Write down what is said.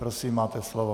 Prosím, máte slovo.